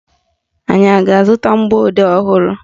Anyị a ga-azụta mgbọodee ọhụrụ?